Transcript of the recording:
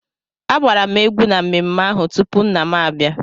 Agbara m egwú n'ememme ahụ tupu nna m abịa.